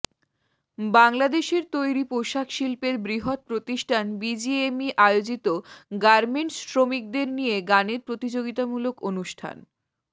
বাংলাদেশের তৈরি পোশাক শিল্পের বৃহৎ প্রতিষ্ঠান বিজিএমইএ আয়োজিত গার্মেন্টস শ্রমিকদের নিয়ে গানের প্রতিযোগিতামূলক অনুষ্ঠান